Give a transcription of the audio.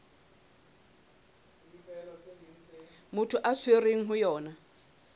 motho a tshwerweng ho yona